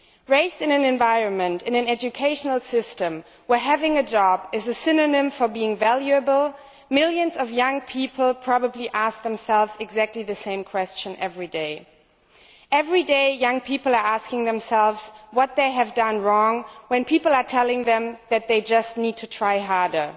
Raised in an environment and an educational system where having a job is a synonym for being valuable, millions of young people probably ask themselves exactly the same question every day. Every day, young people are asking themselves what they have done wrong when people are telling them that they just need to try harder.